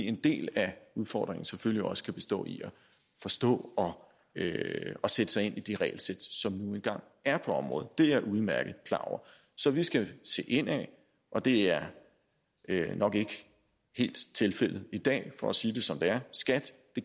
en del af udfordringen kan selvfølgelig også bestå i at forstå og sætte sig ind i de regelsæt som nu engang er på området det er jeg udmærket klar over så vi skal se indad og det er nok ikke helt tilfældet i dag for at sige det som det er skat